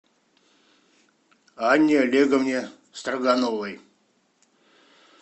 анне олеговне строгановой